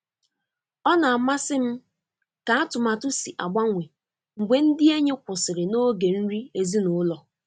Ọ na-amasị m ka atụmatụ si agbanwe mgbe ndị enyi kwụsịrị n'oge nri ezinụlọ.